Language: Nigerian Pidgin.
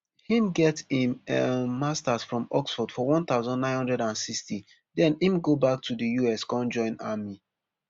im get im um masters from oxford for one thousand, nine hundred and sixty den im go back to di us con join army